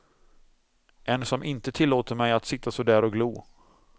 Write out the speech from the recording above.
En som inte tillåter mig att sitta så där och glo.